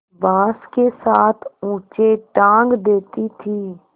बाँस के साथ ऊँचे टाँग देती थी